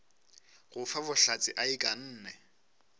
go fa bohlatse a ikanne